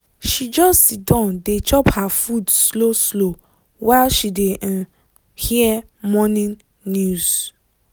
she just siddon dey chop her food slow slow while she dey um hear morning news.